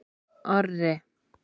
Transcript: Orri